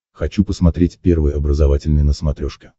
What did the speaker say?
хочу посмотреть первый образовательный на смотрешке